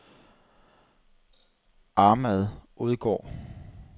Ahmad Odgaard